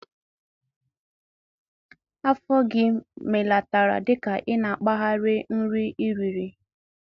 Afọ gị melatara dika ị na-agbari nri ị riri.